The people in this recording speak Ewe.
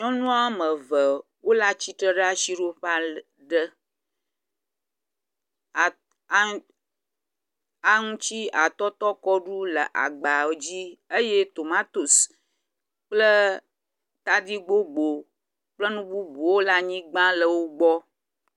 nyɔnu wɔmeve wóle atsitre ɖa siɖoƒa le ɖe aŋutsi atɔtɔ kɔɖu le agbawodzi eye tomatoes tadi kple nu bubuwo la nyigbã le wogbɔ